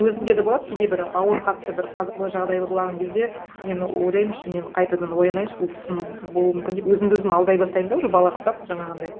өзімде де болады кейде бір ауыр қатты бір қазалы жағдай болған кезде мен ойлаймын ішімнен қайтадан оянайыншы бұл түсім болуы мүмкін деп өзімді өзім алдай бастаймын да уже балаға ұқсап жаңағындай